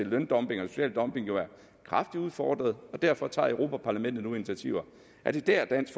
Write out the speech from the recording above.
løndumping og social dumping er kraftigt udfordret derfor tager europa parlamentet nu initiativer er det der dansk